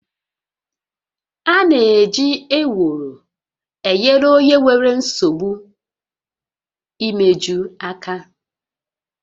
A na-eji Ewuro enyere onye nwere nsogbu imeju aka